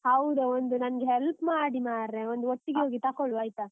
ಹೌದಾ? ಒಂದು ನಂಗೆ help ಮಾಡಿ ಮಾರ್ರೆ ಒಂದು ಒಟ್ಟಿಗೇ ಹೋಗಿ ತಕೊಳ್ಳುವ ಆಯ್ತಾ?